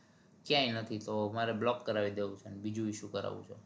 ક્યાંય નથી તો મારે block કરાવી દેવું છે અને બીજું issue કરાવું છે